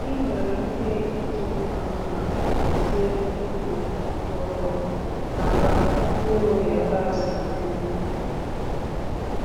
Ị nwere ike iji mma mma hazie ubi kwụ ọtọ maka mkpụrụ yabasị dị mma.